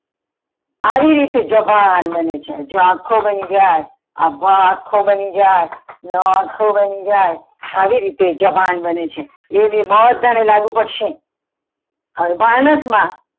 આવી રીતે જભાન બને છે જો આખો બની જાય આ ભ આખો બની જાય ન આખો બની જાય અવિરીતે જભાન બને છે એ બધાને લાગુ પડશે હવે ભાનસ માં.